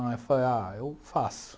Aí eu falei, ah, eu faço.